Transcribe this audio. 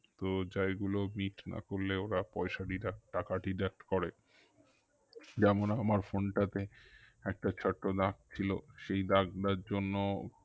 তো যেইগুলো bit ওরা পয়সা deduct টাকা deduct করে যেমন আমার phone টা তে একটা ছোট্ট দাগ ছিল সেই দাগ টার জন্য